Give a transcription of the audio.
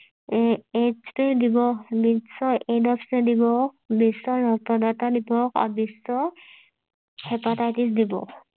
আহ বিশ্ব এইডছ দিৱস বিশ্ব ৰক্তদান দিৱস দিৱস আৰু বিশ্ব হেপাটাইটিছ দিৱস